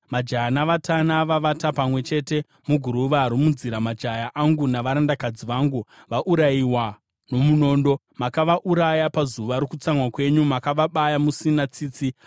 “Majaya navatana vavata pamwe chete muguruva romunzira; majaya angu navarandakadzi vangu vaurayiwa nomunondo. Makavauraya pazuva rokutsamwa kwenyu; makavabaya musina tsitsi.